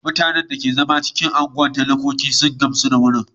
Mutanen da suke zama a unguwar talakoki sun gamsu da gurin.